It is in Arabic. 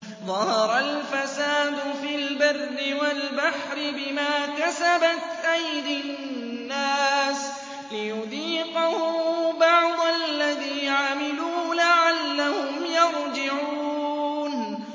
ظَهَرَ الْفَسَادُ فِي الْبَرِّ وَالْبَحْرِ بِمَا كَسَبَتْ أَيْدِي النَّاسِ لِيُذِيقَهُم بَعْضَ الَّذِي عَمِلُوا لَعَلَّهُمْ يَرْجِعُونَ